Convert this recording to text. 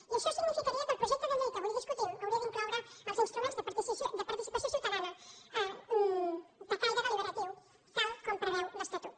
i això significaria que el projecte de llei que avui discutim hauria d’incloure els instruments de participació ciutadana de caire deliberatiu tal com preveu l’estatut